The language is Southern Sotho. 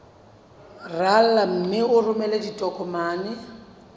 rala mme o romele ditokomene